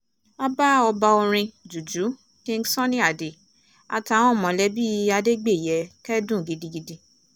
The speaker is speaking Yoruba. a bá ọba orin juju king sunny ade àtàwọn mọ̀lẹ́bí adégbèyẹ kẹ́dùn gidigidi